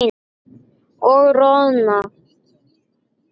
Og roðna.